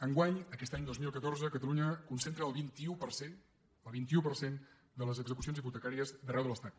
enguany aquest any dos mil catorze catalunya concentra el vint un per cent el vint un per cent de les execucions hipotecàries d’arreu de l’estat